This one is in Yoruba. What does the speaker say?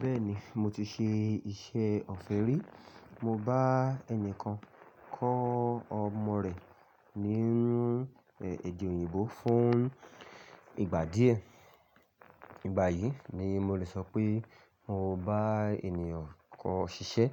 Bẹ́ẹ̀ni mo ti ṣe iṣẹ́ ọ̀fẹ́ rí. Mo bá ẹnìkan kọ́ ọmọ rẹ̀ ní ede òyìnbó fún ìgbà díẹ̀. Ìgbà yìí ni mo lè sọ pé mo bá ènìyàn kọ ṣiṣẹ́